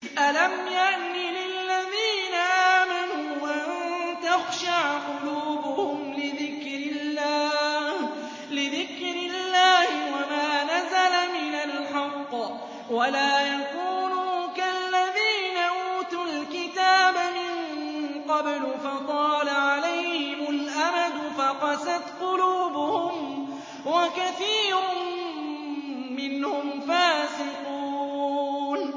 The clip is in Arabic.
۞ أَلَمْ يَأْنِ لِلَّذِينَ آمَنُوا أَن تَخْشَعَ قُلُوبُهُمْ لِذِكْرِ اللَّهِ وَمَا نَزَلَ مِنَ الْحَقِّ وَلَا يَكُونُوا كَالَّذِينَ أُوتُوا الْكِتَابَ مِن قَبْلُ فَطَالَ عَلَيْهِمُ الْأَمَدُ فَقَسَتْ قُلُوبُهُمْ ۖ وَكَثِيرٌ مِّنْهُمْ فَاسِقُونَ